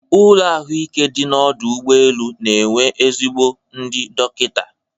Ụlọ ahụike dị n'ọdụ ụgbọ elu na-enwe ezigbo ndị dọkịta.